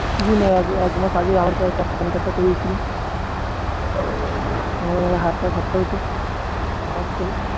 কিছুদিন আগে একজনের কাছে থেকে PAN card টা করিয়েছিলাম আমার আবার হাজার টাকা খরচা হতো পকাৎ করে